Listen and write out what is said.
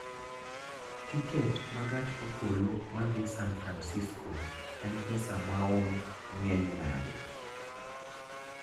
Tiket ma gach okolo madhi San Fransisko en pesa maom ng�eny nade?